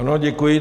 Ano, děkuji.